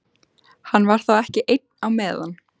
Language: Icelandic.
Hann var þá ekki einn á meðan.